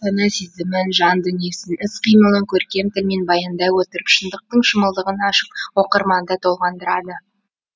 сана сезімін жан дүниесін іс қимылын көркем тілмен баяндай отырып шындықтың шымылдығын ашып оқырманды толғандырады